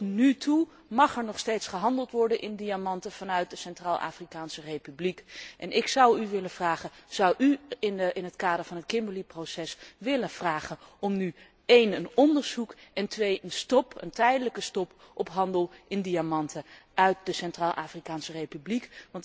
Tot nu toe mag er nog steeds gehandeld worden in diamanten vanuit de Centraal Afrikaanse Republiek en ik zou u willen vragen zou u in het kader van het Kimberley Process willen vragen om een onderzoek en een tijdelijke stop op handel in diamanten uit de Centraal Afrikaanse Republiek.